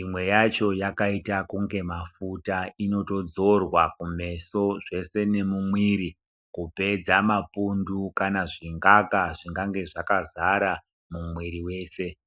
imwe yacho yakaita kunge mafuta inotodzorwa kumeso zvese nemumwiri kupedza mapundu kana zvingaka zvingange zvakazare mumwiri wese.